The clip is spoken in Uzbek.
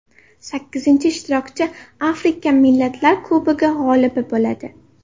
Sakkizinchi ishtirokchi Afrika Millatlar Kubogi g‘olibi bo‘ladi.